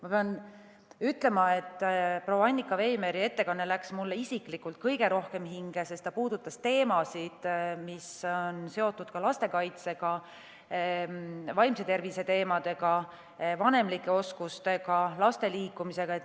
Ma pean ütlema, et proua Annika Veimeri ettekanne läks mulle isiklikult kõige rohkem hinge, sest ta puudutas teemasid, mis on seotud lastekaitsega, vaimse tervisega, vanemlike oskustega, laste liikumisega.